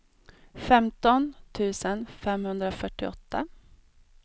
femton tusen femhundrafyrtioåtta